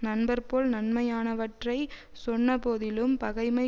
நண்பர்போல் நன்மையானவற்றைச் சொன்னபோதிலும் பகைமை